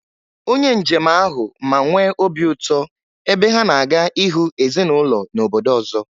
Onye njem ahụ ma nwee obi ụtọ, ebe ha na-aga ịhụ ezinụlọ n’obodo ọzọ